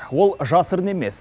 ол жасырын емес